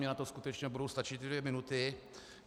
Mně na to skutečně budou stačit dvě minuty.